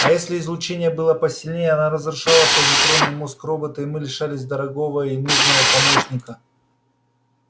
а если излучение было посильнее оно разрушало позитронный мозг робота и мы лишались дорогого и нужного помощника